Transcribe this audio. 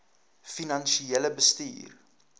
finansiële bestuur